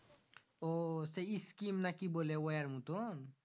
ওই সেই scheme না কি বলে ওয়্যার মতুন